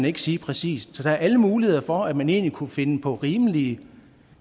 ikke sige præcist så der er alle muligheder for at man egentlig kunne finde på rimelige